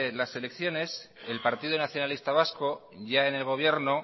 las elecciones el partido nacionalista vasco ya en el gobierno